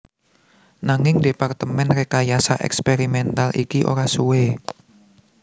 Nanging Departemen Rekayasa Eksperimental iki ora suwe